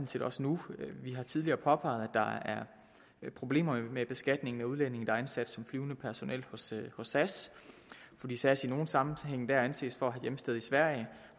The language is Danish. set også nu vi har tidligere påpeget at der er problemer med beskatningen af udlændinge der er ansat som flyvende personel hos sas fordi sas i nogle sammenhænge anses for at have hjemsted i sverige